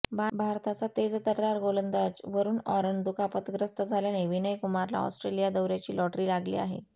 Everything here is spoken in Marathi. भारताचा तेजतर्रार गोलंदाज वरून ऑरन दुखापतग्रस्त झाल्याने विनय कुमारला ऑस्ट्रेलिया दौर्याची लॉटरी लागली आहे